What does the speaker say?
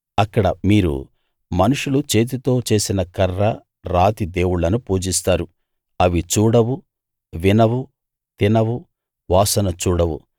అక్కడ మీరు మనుష్యులు చేతితో చేసిన కర్ర రాతి దేవుళ్ళను పూజిస్తారు అవి చూడవు వినవు తినవు వాసన చూడవు